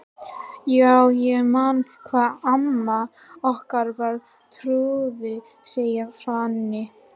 Já, ég man hvað amma okkar var trúuð, segir Svenni.